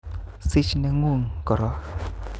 Sich ne'guk koron